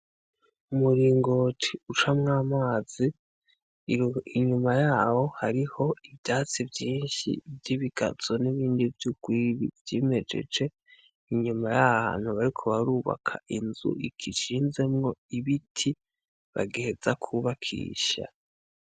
Umuringoti ucamwo amazi, inyuma yaho hariho ivyatsi vyinshi vy’ibigazo n’ibindi vy’urwiri vyimejeje , inyuma y’ahantu bariko barubaka inzu igishinzemwo ibiti bagiheza kwubakisha.